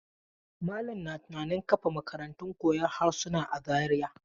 Malam na tunanin kafa makarantar koyon harsuna a Zariya.